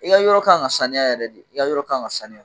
I ka yɔrɔ ka kan ka sanuya yɛrɛ de, i ka yɔrɔ ka kan ka sanuya.